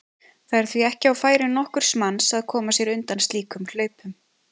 Það er því ekki á færi nokkurs manns að koma sér undan slíkum hlaupum.